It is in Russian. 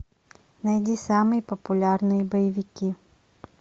найди самые популярные боевики